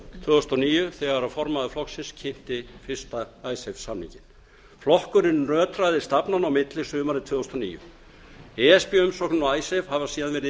tvö þúsund og níu þegar formaður flokksins kynnti fyrsta icesave samninginn flokkurinn nötraði stafnanna á milli sumarið tvö þúsund og níu e s b umsóknin og icesave hafa síðan verið